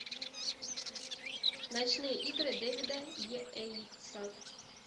ночные игры дэвида йейтса